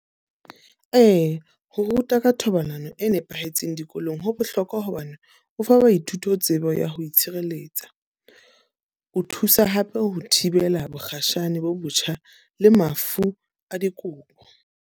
Ee, ho ruta ka thobalano e nepahetseng dikolong ho bohlokwa hobane ho fa baithuti ho tsebo ya ho itshireletsa. Ho thusa hape ho thibela bokgatjhane bo botjha le mafu a dikobo.